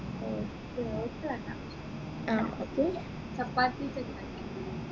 oats oats വേണ്ട ചപ്പാത്തി